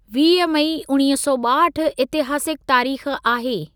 वीह मई उणिवीह सौ ॿाहठि इतिहासिक तारीख़ आहे।